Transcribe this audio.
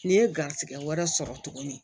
N'i ye garizigɛ wɛrɛ sɔrɔ tuguni